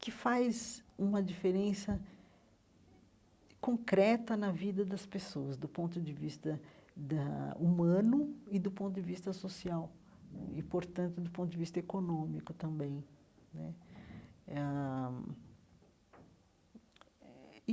que faz uma diferença concreta na vida das pessoas, do ponto de vista da humano e do ponto de vista social, e, portanto, do ponto de vista econômico também né eh ãh eh.